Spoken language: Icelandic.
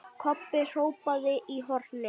Kobbi hrópaði í hornið.